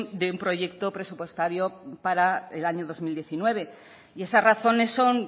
de un proyecto presupuestario para el año dos mil diecinueve y esas razones son